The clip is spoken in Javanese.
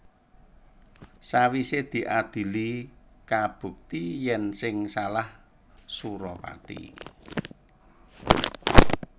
Sawisé diadhili kabukti yèn sing salah Suropati